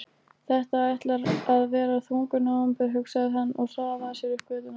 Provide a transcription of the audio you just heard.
Þetta ætlar að verða þungur nóvember, hugsaði hann og hraðaði sér upp götuna.